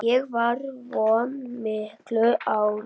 Ég var vön miklu álagi.